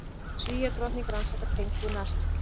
Svíadrottning rannsakar tengsl við nasista